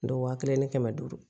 Don wa kelen ni kɛmɛ duuru